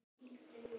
Reyndu að giska.